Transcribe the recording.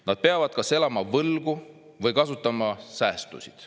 "Nad peavad kas elama võlgu või kasutama säästusid.